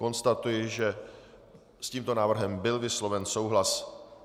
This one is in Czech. Konstatuji, že s tímto návrhem byl vysloven souhlas.